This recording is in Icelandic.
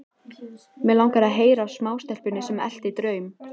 Mig langar að heyra af smástelpunni sem elti draum.